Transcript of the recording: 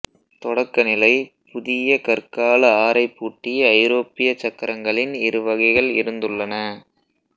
தொடக்கநிலைப் புதிய கற்கால ஆரைபூட்டிய ஐரோப்பியச் சக்கரங்களின் இருவகைகள் இருந்துள்ளன